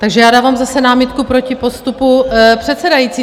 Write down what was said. Takže já dávám zase námitku proti postupu předsedající.